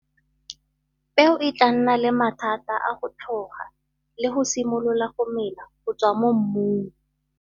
Peo e tlaa nna le mathata a go tlhoga le go simolola go mela go tswa mo mmung.